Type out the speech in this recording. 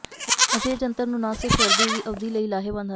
ਅਜਿਹੇ ਜੰਤਰ ਨੂੰ ਨਾ ਸਿਰਫ ਸਰਦੀ ਦੀ ਅਵਧੀ ਲਈ ਲਾਹੇਵੰਦ ਹਨ